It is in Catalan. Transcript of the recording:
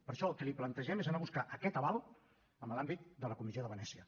per això el que li plantegem és anar a buscar aquest aval en l’àmbit de la comissió de venècia